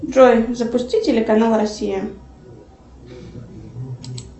джой запусти телеканал россия